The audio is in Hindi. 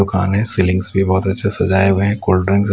दुकान है सीलिंग्स भी बहुत अच्छे सजाया हुए हैं कोल्डड्रिंक्स --